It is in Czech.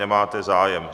Nemáte zájem.